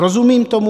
Rozumím tomu.